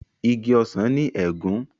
Ìgi ọsán ní egún.